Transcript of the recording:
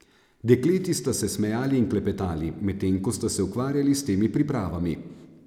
Dekleti sta se smejali in klepetali, medtem ko sta se ukvarjali s temi pripravami.